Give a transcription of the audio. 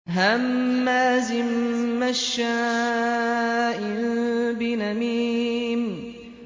هَمَّازٍ مَّشَّاءٍ بِنَمِيمٍ